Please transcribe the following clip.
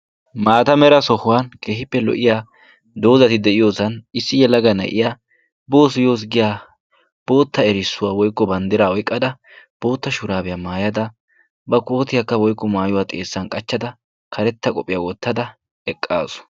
maata mera sohuwan kehippe lo77iya doozati de7iyoosan issi yalaga ne7iya boos yoos giya bootta erissuwaa woiqqo banddira oiqqada bootta shuraabiyaa maayada ba kootiyaakka woiqqo maayuwaa xeessan qachchada karetta qophiyaa wottada eqqaasu.